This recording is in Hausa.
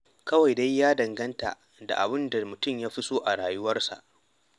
Kawai dai ya danganta da abin da mutum ya fi so a rayuwarsa.